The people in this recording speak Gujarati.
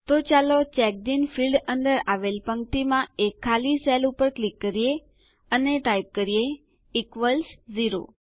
તો ચાલો ચેકડિન ફીલ્ડ અંદર આવેલ પંક્તિમાં એક ખાલી સેલ ઉપર ક્લિક કરીએ અને ટાઈપ કરીએ ઇક્વલ્સ ઝેરો